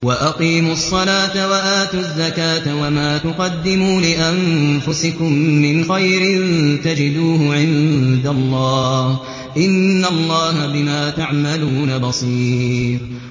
وَأَقِيمُوا الصَّلَاةَ وَآتُوا الزَّكَاةَ ۚ وَمَا تُقَدِّمُوا لِأَنفُسِكُم مِّنْ خَيْرٍ تَجِدُوهُ عِندَ اللَّهِ ۗ إِنَّ اللَّهَ بِمَا تَعْمَلُونَ بَصِيرٌ